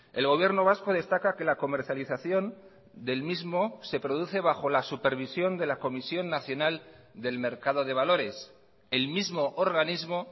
el gobierno vasco destaca que la comercialización del mismo se produce bajo la supervisión de la comisión nacional del mercado de valores el mismo organismo